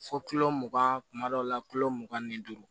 Fo mugan kuma dɔw la mugan ni duuru